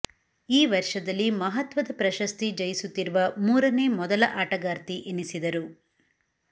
ಈ ವರ್ಷದಲ್ಲಿ ಮಹತ್ವದ ಪ್ರಶಸ್ತಿ ಜಯಿಸುತ್ತಿರುವ ಮೂರನೇ ಮೊದಲ ಆಟಗಾರ್ತಿ ಎನಿಸಿದರು